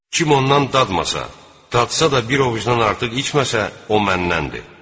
Kim ondan dadmasa, dadsa da bir ovucdan artıq içməsə, o məndəndir.